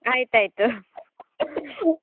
ಅಯ್ತಾಯ್ತು .